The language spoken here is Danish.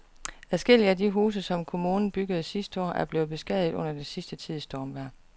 Adskillige af de huse, som kommunen byggede sidste år, er blevet beskadiget under den sidste tids stormvejr.